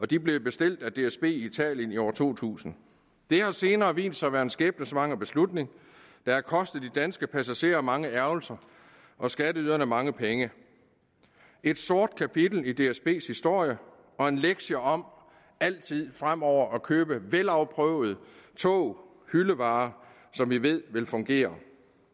de blev bestilt af dsb i italien i år to tusind det har senere vist sig at være en skæbnesvanger beslutning der har kostet de danske passagerer mange ærgrelser og skatteyderne mange penge et sort kapitel i dsbs historie og en lektie om altid frem over at købe vel afprøvede tog hyldevarer som vi ved vil fungere